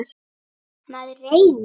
Maður reynir.